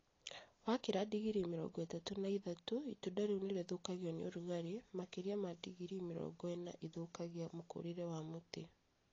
Wakĩra digirii mĩrongo ĩtatũ na ithatũ itunda rĩu nĩrĩthukagio nĩ ũrũgarĩ , makĩria ma digirii mĩrongo ĩna ũthukagia mũkũrĩre wa mũtĩ